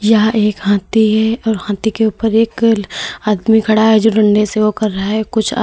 यह एक हाथी है और हाथी के ऊपर एक आदमी खड़ा है जो दंडे से वो कर रहा है कुछ अ--